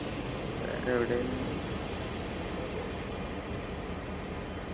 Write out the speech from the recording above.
വേറെ എവിടെ